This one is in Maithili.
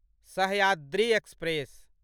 सहयाद्री एक्सप्रेस